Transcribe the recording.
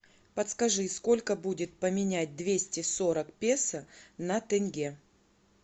подскажи сколько будет поменять двести сорок песо на тенге